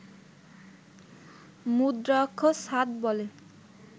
মুদ্রাক্ষর ছাঁদ বলে